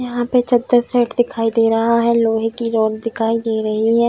यहाँ पे चदर शेड दिखाई दे रहा है लोहे की रॉड दिखाई दे रही है।